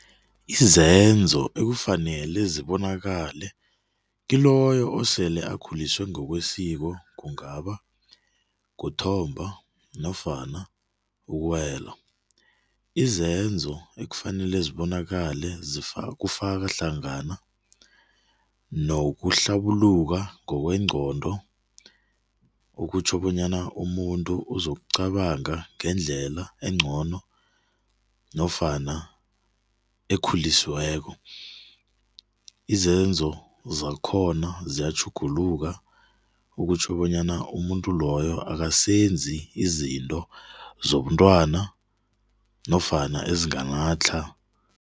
Izenzo ekufanele zibonakala kiloyo osele akhuliswa ngokwesiko kungaba kuthomba nofana ukuwela, izenzo ekufanele zibonakala kufaka hlangana nokuhlabuluka ngokwengqondo okutjho bonyana umuntu uzokucabanga ngendlela engcono nofana ekhulisiweko. Izenzo zakhona ziyatjhuguluka okutjho bonyana umuntu loyo akasebenzi izinto zobuntwana nofana ezinganatlha.